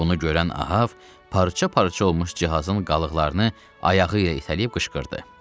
Bunu görən Ahav parça-parça olmuş cihazın qalıqlarını ayağı ilə itələyib qışqırdı: